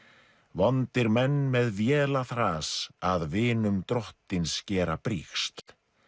vondir menn með véla þras að vinum drottins gera brigsl